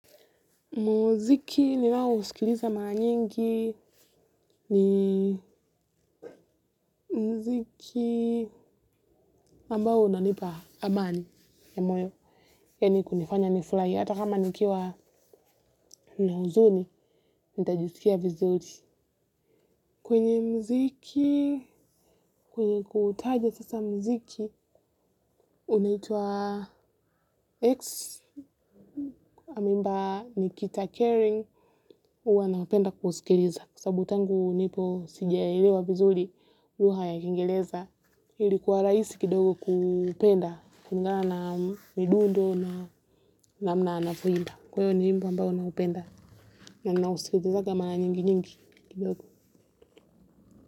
Muziki ninaousikiliza mara nyingi ni muziki ambao unanipa amani ya moyo yaani kunifanya nifurahi. Hata kama nikiwa na huzuni, nitajisikia vizuri. Kwenye muziki, kwenye kutaja sasa muziki, unaitwa X. Ameimba Nikita Kering, huwa napenda kuusikiliza. Kwa sababu tangu nipo sijaielewa vizuri lugha ya kiingereza ilikuwa rahisi kidogo kupenda kulingana na midundo na namna anavyoimba kwa hio ni wimbo ambao naupenda na ninausikilizanga mara nyingi nyingi kidogo.